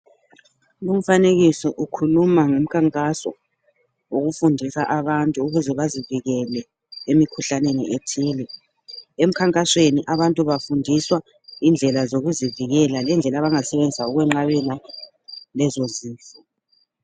Lumfanekiso ukhuluma ngomkhankaso wokufundisa abantu ukuze bazivikele emikhuhlaneni ethile. Emkhankasweni abantu bafundiswa indlela zokuzivikela ngendlela abangasebenzisa ukwenqabela lezo zifo.